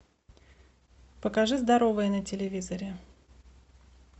покажи здоровое на телевизоре